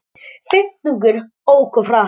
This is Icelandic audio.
Fimmtungur ók of hratt